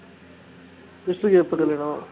விஷ்ணுக்கு எப்போ கல்யாணோ